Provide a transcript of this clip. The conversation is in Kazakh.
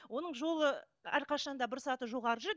оның жолы әрқашан да бір саты жоғары жүреді